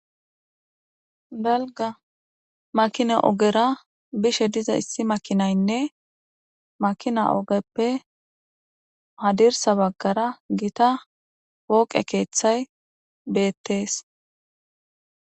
balga makina ogera bishe diza issi makinaynne makina ogeppe hadirsa baggara gita wooqe keeththay beettees